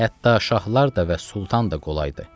Hətta şahlar da və sultan da qolaydır.